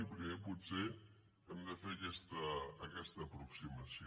i primer potser hem de fer aquesta aproximació